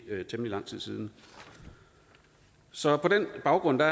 temmelig lang tid siden så på den baggrund er